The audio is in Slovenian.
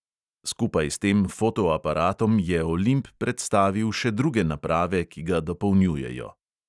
Skupaj s tem fotoaparatom je olimp predstavil še druge naprave, ki ga dopolnjujejo.